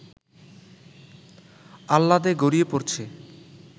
আহ্লাদে গড়িয়ে পড়ছে